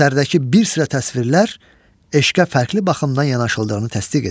Əsərdəki bir sıra təsvirlər eşqə fərqli baxımdan yanaşıldığını təsdiq edir.